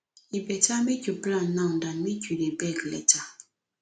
e better make you plan now than make you dey beg later